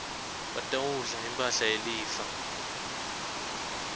batawudla imphahla yelifa